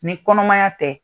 Ni kɔnɔmaya tɛ